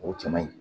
O cɛ man ɲi